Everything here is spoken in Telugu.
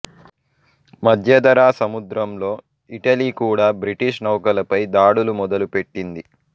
మధ్యధరా సముద్రంలో ఇటలీ కూడా బ్రిటిష్ నౌకలపై దాడులు మొదలు పెట్టింది